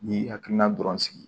N'i y'i hakilina dɔrɔn sigi